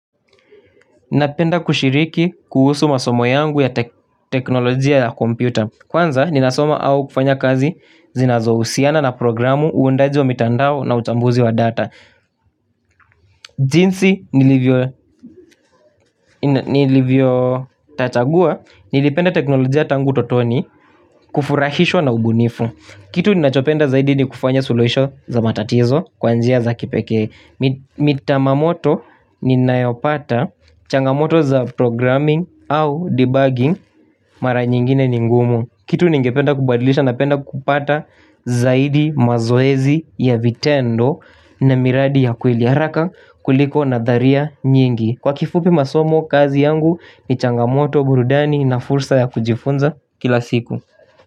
Ninapenda kushiriki kuhusu masomo yangu ya teknolojia ya komputa. Kwanza nina soma au kufanya kazi zinazo husiana na programu uundaji wa mitandao na utambuzi wa data. Jinsi nilivyo tatagua nilipenda teknolojia tangu totoni kufurahishwa na ubunifu. Kitu ninachopenda zaidi ni kufanya suluhisho za matatizo kwa njia za kipeke. Mita mamoto nina yopata changamoto za programming au debugging mara nyingine ningumu. Kitu ningependa kubadilisha na penda kupata zaidi mazoezi ya vitendo na miradi ya kuiliaraka kuliko na dharia nyingi. Kwa kifupi masomo kazi yangu ni changamoto burudani na fursa ya kujifunza kila siku.